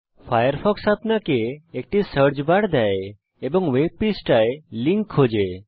Firefox আপনাকে একটি search bar দেয় এবং ওয়েব পৃষ্ঠায় লিঙ্ক খোঁজে